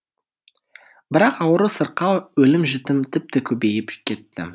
бірақ ауру сырқау өлім жітім тіпті көбейіп кетті